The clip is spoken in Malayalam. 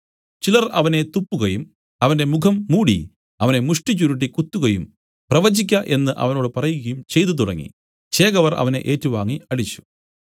ചിലർ അവനെ തുപ്പുകയും അവന്റെ മുഖം മൂടി അവനെ മുഷ്ടിചുരുട്ടി കുത്തുകയും പ്രവചിക്ക എന്നു അവനോട് പറകയും ചെയ്തു തുടങ്ങി ചേവകർ അവനെ ഏറ്റുവാങ്ങി അടിച്ചു